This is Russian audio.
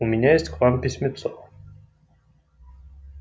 у меня есть к вам письмецо